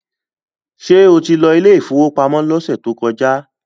Ṣé o ti lọ ilé ìfowópamọ́ lọ́sẹ̀ tó kọjá?